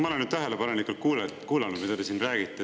Ma olen nüüd tähelepanelikult kuulanud, mida te siin räägite.